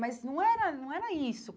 Mas não era não era isso.